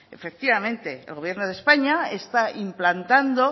efectivamente el gobierno de españa está implantando